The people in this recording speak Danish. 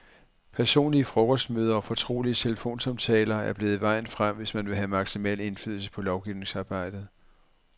Personlige frokostmøder og fortrolige telefonsamtaler er blevet vejen frem, hvis man vi have maksimal indflydelse på lovgivningsarbejdet.